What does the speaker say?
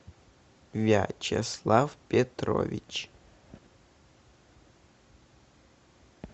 вячеслав петрович